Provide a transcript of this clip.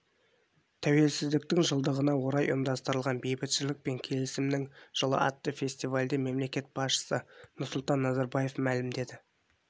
тәуелсіздіктің жылдығына орай ұйымдастырылған бейбітшілік пен келісімнің жылы атты фестивальде мемлекет басшысы нұрсұлтан назарбаев мәлімдеді